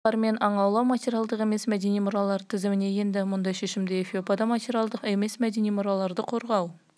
қазақтың ұлттық күресі мен сұңқармен аң аулау материалдық емес мәдени мұралар тізіміне енді мұндай шешімді эфиопияда материалдық емес мәдени мұраларды қорғау